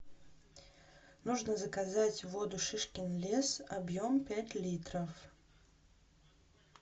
нужно заказать воду шишкин лес объем пять литров